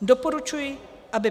Doporučuji, by